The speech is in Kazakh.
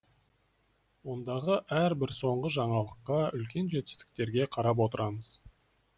ондағы әр бір соңғы жаңалыққа үлкен жетістіктерге қарап отырамыз